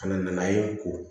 Kana na ye n ko